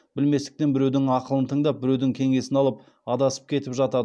білместіктен біреудің ақылын тыңдап біреудің кеңесін алып адасып кетіп жатады